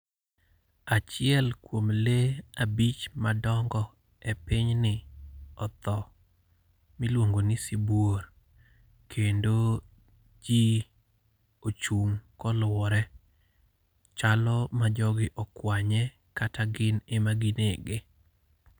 Achiel kuom le abich madongo e pinyni otho miluongo ni sibuor. Kendo ji ochung' kolwore. Chalo ma jogi okwanye, kata gin ema ginege.